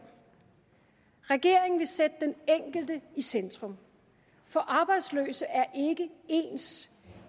regeringen vil sætte den enkelte i centrum for arbejdsløse er ikke ens